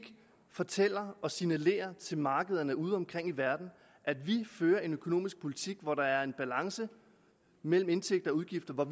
fortæller og signalerer til markeder udeomkring i verden at vi fører en økonomisk politik hvor der er en balance mellem indtægter og udgifter og